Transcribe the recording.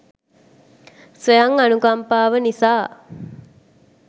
ස්වයං අනුකම්පාව නිසා